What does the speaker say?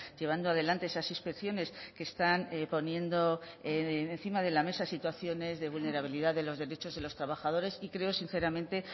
llevando adelante esas inspecciones que están poniendo encima de la mesa situaciones de vulnerabilidad de los derechos de los trabajadores y creo sinceramente